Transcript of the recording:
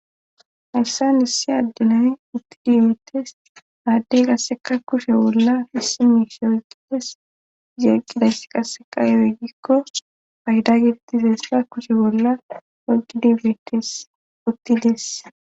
Hayssa issi addinay uttidi beetes aaddey qasseka kushe bolla fisimishe ugedes zeeqqidayss qasseqa ewoegikko payda giditizessa kushe bolla oqidibeetes uttides